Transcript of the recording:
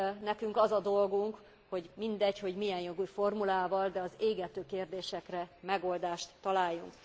Nekünk az a dolgunk, hogy mindegy, hogy milyen jogi formulával, de az égető kérdésekre megoldást találjunk.